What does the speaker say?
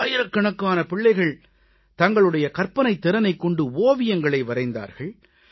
ஆயிரக்கணக்கான பிள்ளைகள் தங்களுடைய கற்பனைத் திறனைக் கொண்டு ஓவியங்களை வரைந்தார்கள்